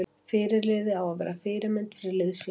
Fyrirliði á að vera fyrirmynd fyrir liðsfélaga sína.